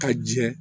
Ka jɛ